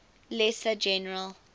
lesser general